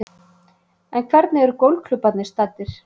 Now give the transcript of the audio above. En hvernig eru golfklúbbarnir staddir